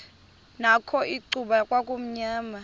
nakho icuba kwakumnyama